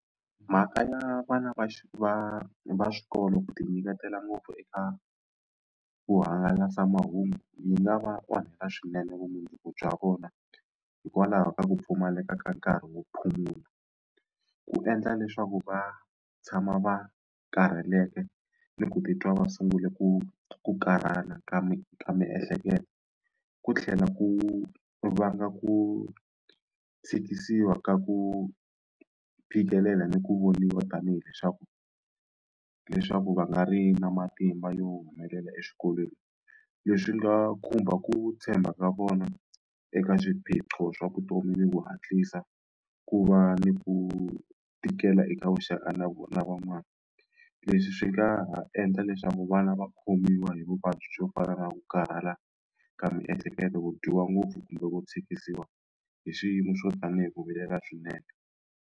Mhaka ya vana va va va xikolo ku ti nyiketela ngopfu eka vuhangalasamahungu yi nga va onhela swinene vumundzuku bya vona hikwalaho ka ku pfumaleka ka nkarhi wo phumula wu endla leswaku va tshama va karheleke ni ku titwa va sungule ku ku karhala ka mi ka miehleketo ku tlhela ku vanga ku tshikisiwa ka ku phikelela ni ku voniwa tanihi leswaku leswaku va nga ri na matimba yo humelela exikolweni leswi nga khumba ku tshemba ka vona eka swiphiqo swa vutomi ni ku hatlisa ku va ni ku tikela eka vuxaka na na van'wani leswi swi nga ha endla leswaku vana va khomiwa hi vuvabyi byo fana na ku karhala ka miehleketo ku dyiwa ngopfu kumbe ku tshikisiwa hi swiyimo swo tanihi ku vilela swinene.